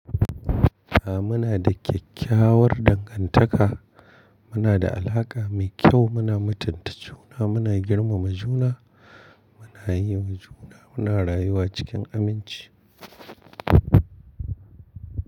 A muna da kyakkyawar dangantaka, muna da alaƙa mai kyau, muna mutunta juna, muna girmama juna, muna yi wa juna, muna rayuwa cikin aminci.